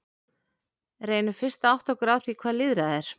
Reynum fyrst að átta okkur á því hvað lýðræði er.